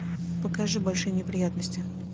покажи большие неприятности